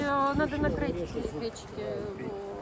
Mən onların sobalarını örtməliyəm.